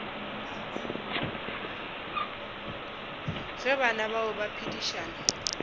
ge bana bao ba phedišana